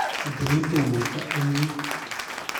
Itilil temburto ak iun